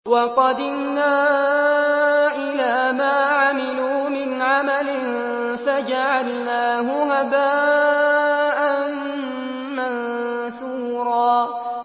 وَقَدِمْنَا إِلَىٰ مَا عَمِلُوا مِنْ عَمَلٍ فَجَعَلْنَاهُ هَبَاءً مَّنثُورًا